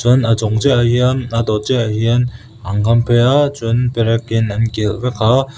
chuan a chung chiahah hian a dawt chiahah hian an kham phei a chuan perekin an kilh vek a.